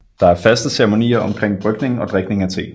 Der er faste ceremonier omkring brygning og drikning af te